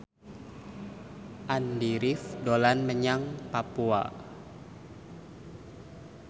Andy rif dolan menyang Papua